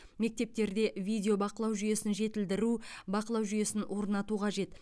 мектептерде видео бақылау жүйесін жетілдіру бақылау жүйесін орнату қажет